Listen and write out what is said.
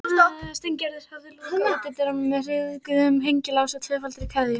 Steingerður hafði lokað útidyrunum með ryðguðum hengilás og tvöfaldri keðju.